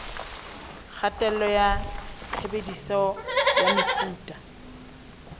kgatello ya tshebediso ya mefuta